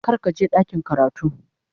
Kar ka je ɗakin karatu.